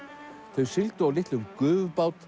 þau sigldu á litlum